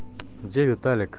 где виталик